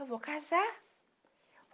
Eu vou casar.